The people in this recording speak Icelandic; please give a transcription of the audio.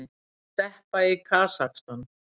Steppa í Kasakstan.